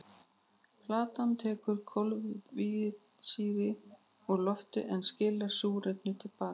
Plantan tekur koltvísýring úr lofti en skilar súrefni til baka.